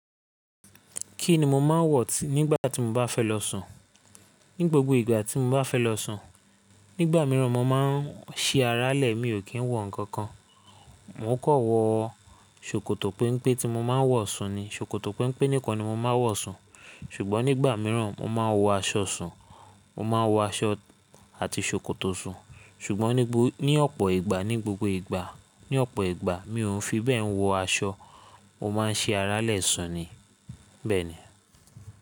Kí ni mo máa ń wọ̀ nígbà tí mo bá fẹ́ lọ sùn? Ní gbogbo ìgbà tí mo bá fẹ́ lọ sùn, nígbà míràn mo máa ń ṣi ará lẹ̀ mi ò kí ń wọ ǹkan kan. Mo kan wọ ṣòkòtò penpe tí mo máa ń wọ̀ sùn ni. Ṣòkòtò pempe nìkan ni mo máa ń wọ̀ sùn. Ṣùgbọ́n nígbà míràn mo máa ń wọ aṣọ sùn, mo máa ń wọ aṣọ àti ṣòkòtò sùn. Ṣùgbọ́n ní ọ̀pọ̀ ìgbà, ní gbogbo ìgbà, ní ọ̀pọ̀ ìgbà mi ò n fi bẹ́ẹ̀ wọ aṣọ. Mo máa ń ṣi ará lẹ̀ sùn ni, bẹ́ẹ̀ ni.